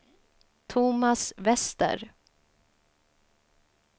Tomas Wester